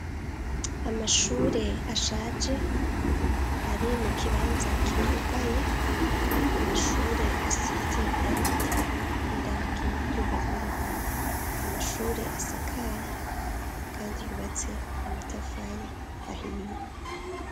Amashure ashaje ari mu kibanza kitutaye amashure asise irangi ryera n'irangi ry'ubururu namashure asakaye kandi yubatse na matafari ahiye.